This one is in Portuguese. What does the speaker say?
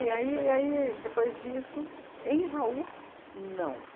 e aí e aí depois disso, em Jaú, não.